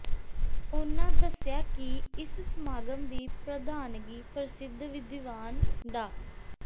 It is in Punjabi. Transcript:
ਉਨ੍ਹਾਂ ਦੱਸਿਆ ਕਿ ਇਸ ਸਮਾਗਮ ਦੀ ਪ੍ਰਧਾਨਗੀ ਪ੍ਰਸਿੱਧ ਵਿਦਿਵਾਨ ਡਾ